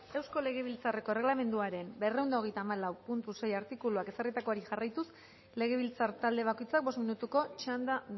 eusko legebiltzarreko erregelamenduaren berrehun eta hogeita hamalau puntu sei artikuluan ezarritakoari jarraituz legebiltzar talde bakoitzak bost minutuko txanda